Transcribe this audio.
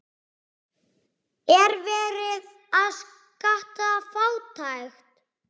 Er verið að skatta fátækt?